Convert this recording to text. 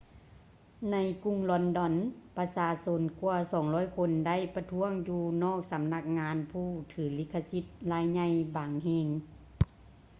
ໃນກຸງລອນດອນ ປະຊາຊົນກວ່າ 200 ຄົນໄດ້ປະທ້ວງຢູ່ນອກສຳນັກງານຜູ້ຖືລິຂະສິດລາຍໃຫຍ່ບາງແຫ່ງ